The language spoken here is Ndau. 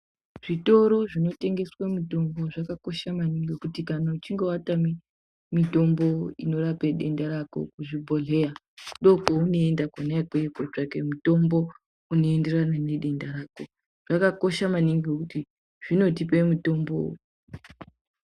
Zvitoro zvinotengesa mitombo zvakanaka maningi kuti kana uchinge watama mitombo inorape denda rako kuzvibhedhlera ndopaunoenda kona ikweyo kotsvaka mitombo unoenderana nedenda rako zvakakosha maningi kuti zvinotipa mitombo .